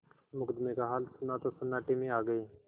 मुकदमे का हाल सुना तो सन्नाटे में आ गये